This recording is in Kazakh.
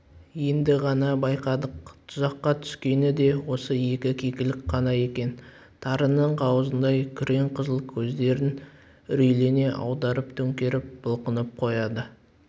енді ғана байқадық тұзаққа түскені де осы екі кекілік қана екен тарының қауызындай күрең қызыл көздерін үрейлене аударып-төңкеріп бұлқынып қояды